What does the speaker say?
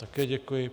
Také děkuji.